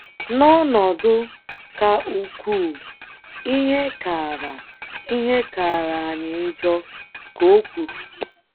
“ N’ọnọdụ ka ukwuu, ihe kaara, ihe kaara anyị njọ, ” ka o kwuru.